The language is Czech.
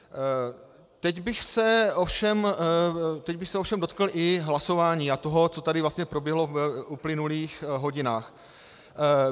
Teď bych se ovšem dotkl i hlasování a toho, co tady vlastně proběhlo v uplynulých hodinách.